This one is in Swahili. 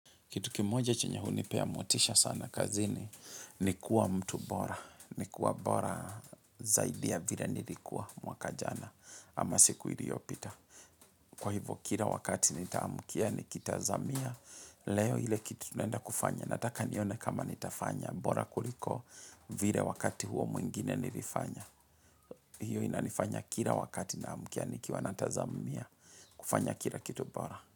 Kitu kimoja chenye hunipea motisha sana kazini ni kuwa mtu bora. Ni kuwa bora zaidi ya vile nilikuwa mwaka jana ama siku iliyopita. Kwa hivyo kila wakati nitaamkia nikitazamia leo ile kitu naenda kufanya. Nataka nione kama nitafanya bora kuliko vile wakati huo mwingine nilifanya. Hiyo inanifanya kila wakati naamkia nikiwa natazamia kufanya kila kitu bora.